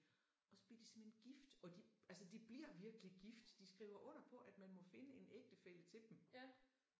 Og så bliver de simpelthen gift og de altså de bliver virkelig gift. De skriver under på at man må finde en ægtefælle til dem